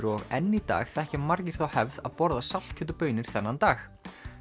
og enn í dag þekkja margir þá hefð að borða saltkjöt og baunir þennan dag